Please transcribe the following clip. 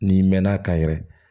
N'i mɛn'a kan yɛrɛ